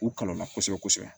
U kalon na kosɛbɛ kosɛbɛ